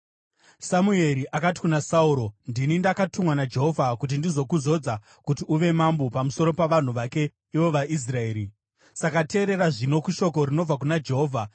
Samueri akati kuna Sauro, “Ndini ndakatumwa naJehovha kuti ndizokuzodza kuti uve mambo pamusoro pavanhu vake ivo vaIsraeri; saka teerera zvino kushoko rinobva kuna Jehovha.